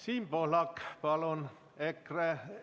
Siim Pohlak, palun!